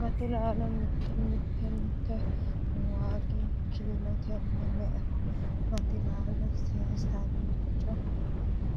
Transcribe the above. Gati- laalo mitte mittente waagi kiilotenni me'eho ? Gati-laalo Seesallichu